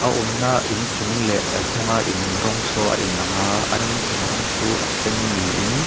a awmna inchung leh a hnunga in rawng saw a in ang a an inchung rawng chu a sen ni in--